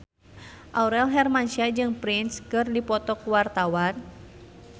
Aurel Hermansyah jeung Prince keur dipoto ku wartawan